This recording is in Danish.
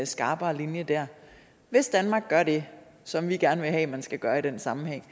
skarpere linje hvis danmark gør det som vi gerne vil have man skal gøre i den sammenhæng